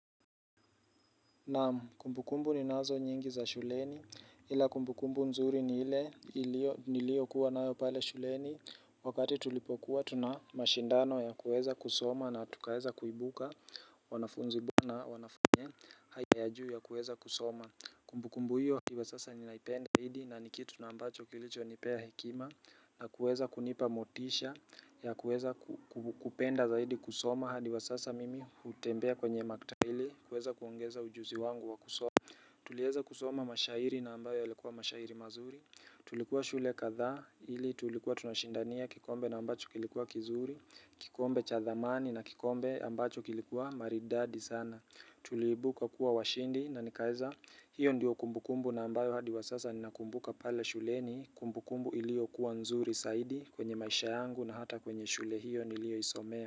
Naam kumbukumbu ni nazo nyingi za shuleni ila kumbukumbu nzuri ni ilio kuwa na yopale shuleni Wakati tulipokuwa tuna mashindano ya kuweza kusoma na tukaeza kuibuka wanafunzi na wanafanye haya juu ya kuweza kusoma Kumbukumbu hiyo ikiwa sasa ninaipenda zaidi na nikitu na ambacho kilicho nipea hekima na kuweza kunipa motisha ya kuweza kupenda zaidi kusoma hadi wa sasa mimi hutembea kwenye maktahili kuweza kuongeza ujuzi wangu wa kusoma Tulieza kusoma mashairi na ambayo yalikuwa mashairi mazuri Tulikuwa shule katha Hili tulikuwa tunashindania kikombe na ambacho kilikuwa kizuri kikombe cha thamani na kikombe ambacho kilikuwa maridadi sana Tulibuka kuwa washindi na nikaeza Hio ndiyo kumbukumbu na ambayo hadi wa sasa Ninakumbuka pale shule ni kumbukumbu ilio kuwa nzuri saidi kwenye maisha yangu na hata kwenye shule hiyo nilio isomea.